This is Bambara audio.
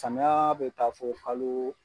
Samiya bɛ taa fɔ kalo